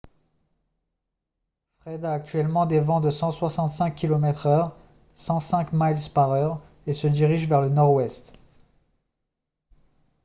fred a actuellement des vents de 165 km/h 105 miles par heure et se dirige vers le nord-ouest